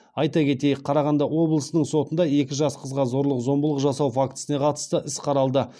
айта кетейік қарағанды облысының сотында екі жас қызға зорлық зомбылық жасау фактісіне қатысты іс қаралды